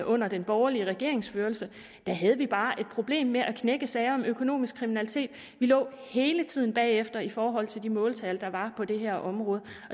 under de borgerliges regeringsførelse havde vi bare et problem med at knække sager om økonomisk kriminalitet vi lå hele tiden bagefter i forhold til de måltal der var på det her område